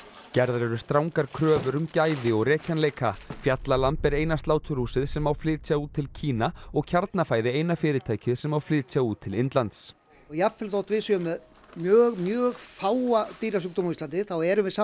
gerðar eru strangar kröfur um gæði og rekjanleika fjallalamb er eina sláturhúsið sem má flytja út til Kína og Kjarnafæði eina fyrirtækið sem má flytja út til Indlands jafnvel þótt við séum með mjög mjög fáa dýrasjúkdóma á Íslandi þá erum við samt